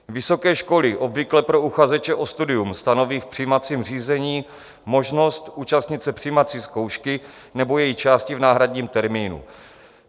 Vysoké školy obvykle pro uchazeče o studium stanoví v přijímacím řízení možnost účastnit se přijímací zkoušky nebo její části v náhradním termínu.